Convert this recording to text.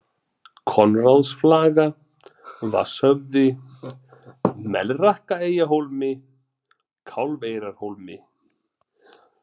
Konráðsflaga, Vatnshöfði, Melrakkaeyjahólmi, Kálfeyrarhólmi